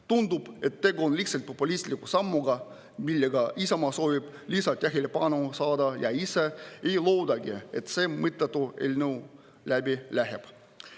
Tundub, et tegu on lihtsalt populistliku sammuga, millega Isamaa soovib lisatähelepanu saada, ja ise ei loodagi, et see mõttetu eelnõu läbi läheb.